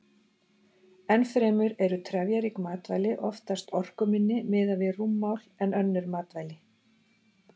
Enn fremur eru trefjarík matvæli oftast orkuminni miðað við rúmmál en önnur matvæli.